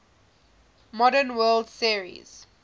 modern world series